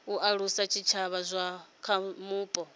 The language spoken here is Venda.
alusa zwitshavha zwa kha vhupo